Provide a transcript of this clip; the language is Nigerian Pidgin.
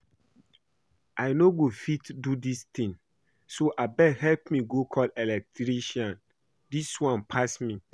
I no go fit do dis thing so abeg help me go call the electrician. Dis one pass me